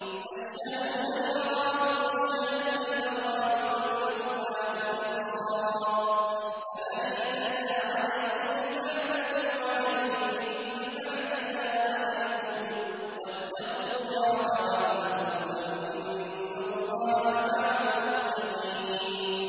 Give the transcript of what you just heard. الشَّهْرُ الْحَرَامُ بِالشَّهْرِ الْحَرَامِ وَالْحُرُمَاتُ قِصَاصٌ ۚ فَمَنِ اعْتَدَىٰ عَلَيْكُمْ فَاعْتَدُوا عَلَيْهِ بِمِثْلِ مَا اعْتَدَىٰ عَلَيْكُمْ ۚ وَاتَّقُوا اللَّهَ وَاعْلَمُوا أَنَّ اللَّهَ مَعَ الْمُتَّقِينَ